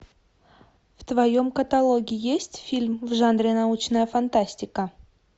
в твоем каталоге есть фильм в жанре научная фантастика